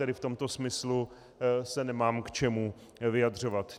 Tedy v tomto smyslu se nemám k čemu vyjadřovat.